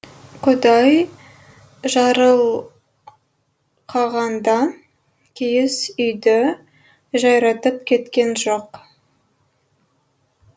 құдай жарылқағанда киіз үйді жайратып кеткен жоқ